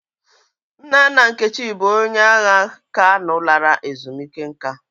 Nna nna Nkechi bụ onye agha Kano lara ezumike nka.